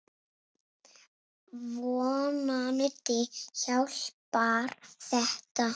Vonandi hjálpar þetta.